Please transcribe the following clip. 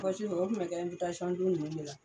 Pɔsi nunnu o kun bɛ kɛ don nunnu de la.